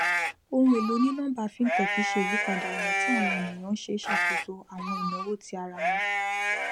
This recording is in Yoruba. ohun èlò onínọmbà fintech ṣe ìyípadà ọnà tí àwọn ènìyàn ń ṣe ṣàkóso àwọn ináwó ti ara wọn